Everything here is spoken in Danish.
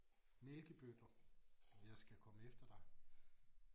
Mælkebøtter jeg skal komme efter dig